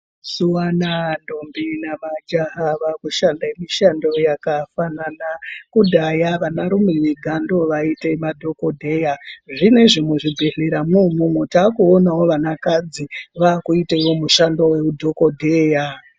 Mazuwa anaa ntombi nemajaha vakushanda mishando yakafanana. Kudhaya vanarume vega ndoovaite madhokodheya. Zvinezvi muzvibhedhleramwo umwomwo takuonawo vanakadzi vakuitewo mushando weudhokodheya.